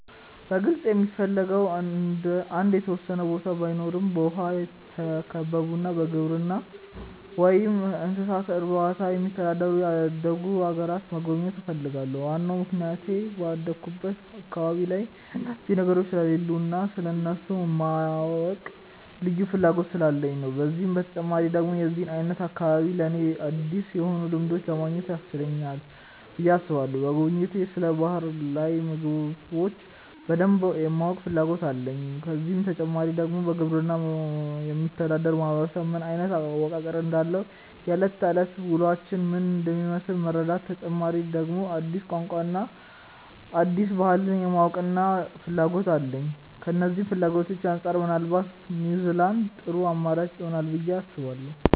በግልጽ የምፈልገው አንድ የተወሰነ ቦታ ባይኖረም በውሃ የተከበቡና በግብርና ወይም እንስሳት እርባታ የሚተዳደሩ ያደጉ አገራትን መጎብኘት እፈልጋለሁ። ዋናው ምክንያቴ ባደኩበት አካባቢ ላይ እነዚህ ነገሮች ስለሌሉ እና ስለእነሱ የማወቅ ልዩ ፍላጎት ስላለኝ ነው። ከዚህ በተጨማሪ ደግሞ የዚህ አይነት አካባቢ ለኔ አዲስ የሆኑ ልምዶችን ለማግኘት ያስችለናል ብዬ አስባለሁ። በጉብኝቴ ስለ ባህር ላይ ምግቦች በደንብ የማወቅ ፍላጎት አለኝ። ከዚህ በተጨማሪ ደግሞ በግብርና የሚተዳደር ማህበረሰብ ምን አይነት አወቃቀር እንዳለው፣ የእለት ከእለት ውሎአቸው ምን እንደሚመስል መረዳት፤ በተጨማሪ ደግሞ አዲስ ቋንቋን እና አዲስ ባህልን የማወቅና ፍላጎት አለኝ። ከነዚህ ፍላጎቶቼ አንጻር ምናልባት ኒውዝላንድ ጥሩ አማራጭ ይሆናል ብዬ አስባለሁ።